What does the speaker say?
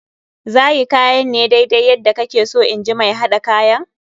Za yi kayan ne daidai yadda kake so in ji mai haɗa kayan.